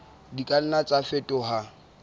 di ka nna tsa fetoha